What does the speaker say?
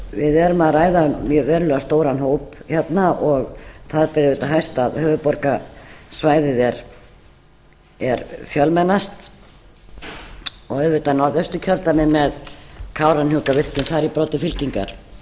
við erum að ræða um verulega stóran hóp hérna og það ber auðvitað hæst að höfuðborgarsvæðið er fjölmennast og auðvitað norðausturkjördæmi með kárahnjúkavirkjun þar í broddi fylkingar